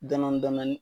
Dɔndɔni dɔndɔni